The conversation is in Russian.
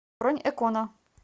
бронь экона